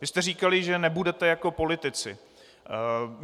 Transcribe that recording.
Vy jste říkali, že nebudete jako politici.